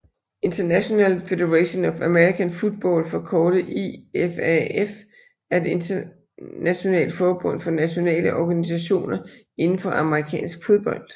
International Federation of American Football forkortet IFAF er et internationalet forbund for nationale organisationer inden for amerikansk fodbold